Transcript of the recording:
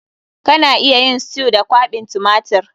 Kana iya yin stew da kwaɓin tumatir.